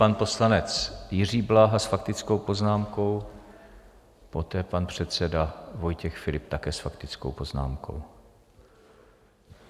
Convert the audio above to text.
Pan poslanec Jiří Bláha s faktickou poznámkou, poté pan předseda Vojtěch Filip, také s faktickou poznámkou.